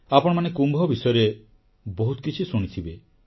ଆପଣମାନେ କୁମ୍ଭ ବିଷୟରେ ବହୁତ କିଛି ଶୁଣିଥିବେ